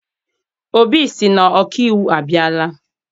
Obi sị na ọkaiwu abịala.